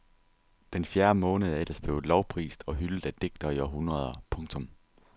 Den fjerde måned er ellers blevet lovprist og hyldet af digtere i århundreder. punktum